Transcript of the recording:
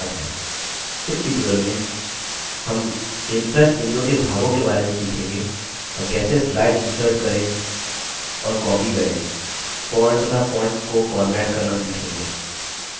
इस tutorial में हम impress window के भागों के बारे में सीखेंगे और कैसे स्लाइड इन्सर्ट करें और कॉपी करें फॉन्ट तथा फॉन्ट को फॉर्मेट करना सीखेंगे